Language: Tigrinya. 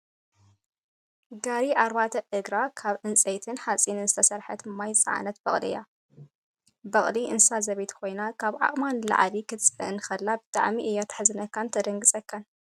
ጋሪ ኣርባዕተ እግራ ካብ ዕንፀይትን ሓፂንን ዝተሰረሓት ማይ ዝፃዕነት በቅሊ እያ። በቅሊ እንስሳ ዘቤት ኮይና ካብ ዓቅማ ንላዕሊ ክትፃዓን ከላ ብጣዕሚ እያ ትሕዝነካን ተደንግፀካን።